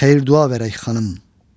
Xeyir dua verək xanım.